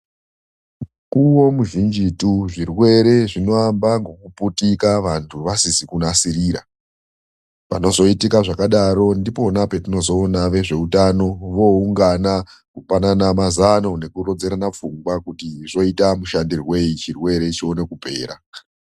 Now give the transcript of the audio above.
Mukuwo muzhinjitu, zvirwere zvinoamba ngekuputika, vantu vasizi kunasirira, Panozoitika zvakadaro ndipona petinozoona vezveutano voungana kupanana mazano nekurodzana pfungwa kuti zvoita mushandirwei chirwere chione kupera.